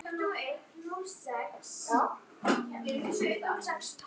Hvernig sjáið þið þetta?